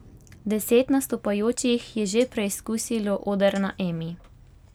Deset nastopajočih je že preizkusilo oder na Emi.